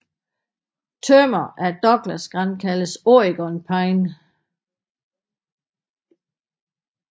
Tømmer af Douglasgran kaldes Oregon pine